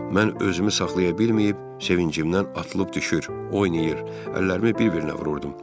Mən özümü saxlaya bilməyib, sevincimdən atılıb düşür, oynayır, əllərimi bir-birinə vururdum.